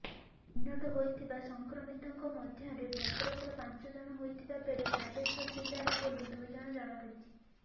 ଚିହ୍ନଟ ହୋଇଥିବା ସଂକ୍ରମିତଙ୍କ ମଧ୍ୟରେ ଭଦ୍ରକର ପାଞ୍ଚଜଣ ହୋଇଥିବା ବେଳେ ବାଲେଶ୍ୱର ଜିଲ୍ଲାର ବୋଲି ଦୁଇ ଜଣଜଣାପଡିଛି